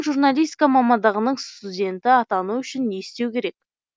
журналистика мамандығының студені атану үшін не істеу керек